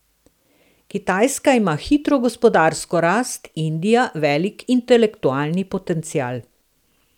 Kitajska ima hitro gospodarsko rast, Indija velik intelektualni potencial.